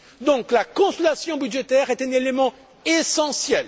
Donc, la consolidation budgétaire est un élément essentiel.